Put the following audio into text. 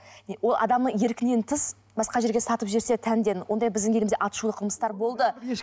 ол адамның еркінен тыс басқа жерге сатып жерсе тәндерін ондай бізді елімізде аты шулы қылмыстар болды